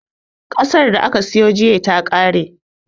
Ƙasan da ka siyo jiya ya ƙare